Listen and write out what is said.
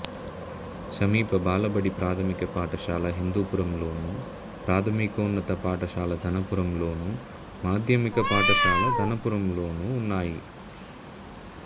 సమీప బాలబడి ప్రాథమిక పాఠశాల హిందూపురంలోను ప్రాథమికోన్నత పాఠశాల ధనపురంలోను మాధ్యమిక పాఠశాల ధనపురంలోనూ ఉన్నాయి